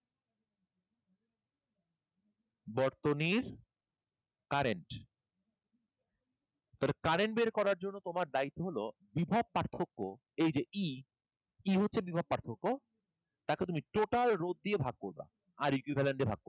বর্তনীর current, তাহলে current বের করার জন্য তোমার চাই হলো বিভব পার্থক্য এই যে E, E হলো বিভব পার্থক্য তাকে তুমি total রোধ দিয়ে ভাগ করবা আর equivalent দিয়া ভাগ করবা।